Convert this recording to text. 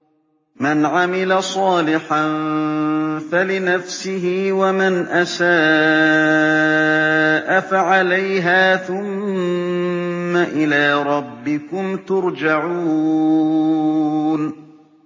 مَنْ عَمِلَ صَالِحًا فَلِنَفْسِهِ ۖ وَمَنْ أَسَاءَ فَعَلَيْهَا ۖ ثُمَّ إِلَىٰ رَبِّكُمْ تُرْجَعُونَ